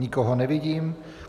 Nikoho nevidím.